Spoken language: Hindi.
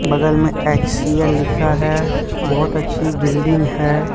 बगल में एच_सी_एल लिखा है बहुत अच्छी बिल्डिंग है।